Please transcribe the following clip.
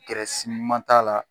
ma k'a la